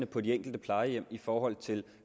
på de enkelte plejehjem i forhold til